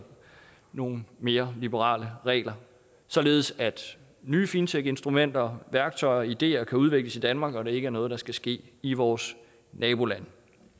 nogle mere liberale regler således at nye fintechinstrumenter og værktøjer og ideer kan udvikles i danmark og at det ikke er noget der skal ske i vores nabolande